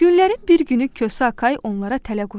Günlərin bir günü Kosa Akay onlara tələ qurdu.